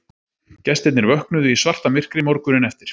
Gestirnir vöknuðu í svartamyrkri morguninn eftir